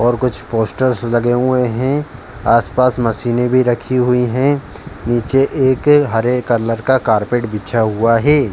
और कुछ पोस्टर्स लगे हुए हैं आस-पास मशीने भी रखी हुई हैं। नीचे एक हरे कलर का कारपेट बिछ हुआ है।